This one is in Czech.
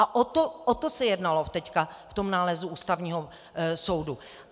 A o to se jednalo teď v tom nálezu Ústavního soudu.